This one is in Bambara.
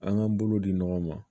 An k'an bolo di ɲɔgɔn ma